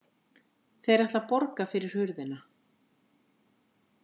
Þeir ætla að borga fyrir hurðina